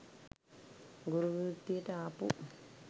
ගුරු වෘත්තියට අපු